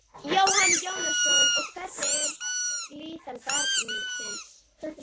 Jóhann Jóhannsson: Og hvernig er líðan barnsins?